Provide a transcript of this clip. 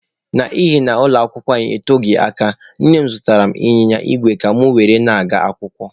N'ihi na ụlọ akwụkwọ anyị eteghị aka, nne m zụtara ịnyịnya igwe ka mụ were na-aga akwụkwọ.